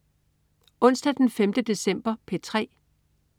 Onsdag den 5. december - P3: